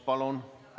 Palun!